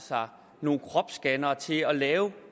nogle kropsscannere til at lave